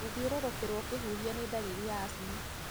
Gũthiũrũrũkĩrwo ũkĩhuhia nĩ ndariri ya asthma.